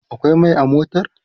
akwai Mai a motar?